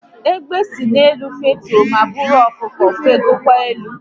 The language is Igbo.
Egbe si n'elu fetue ma buru ọkụkọ fegokwa elu